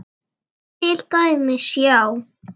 Til dæmis, já.